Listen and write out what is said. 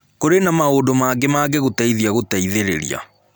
Kũrĩ na maũndũ maingĩ mangĩgũteithia gũteithĩrĩria.